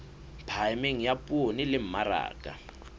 phahameng ya poone le mmaraka